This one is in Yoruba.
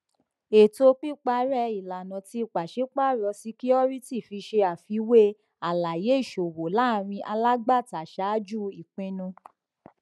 ètò pípàrẹ ìlànà tí pàṣípàárọ ṣíkíórítì fi ṣe àfiwé àlàyé ìṣòwò láàrin alágbàtà ṣáájú ìpinnu